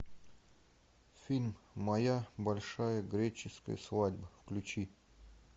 фильм моя большая греческая свадьба включи